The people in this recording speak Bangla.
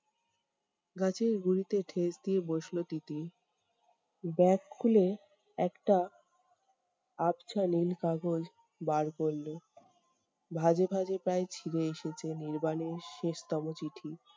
গাছের গুঁড়িতে ঠেস দিয়ে বসলো তিতির। bag খুলে একটা আবছা নীল কাগজ বার করলো। ভাঁজে ভাঁজে প্রায় ছিঁড়ে এসেছে নির্বাণের শেষতম চিঠি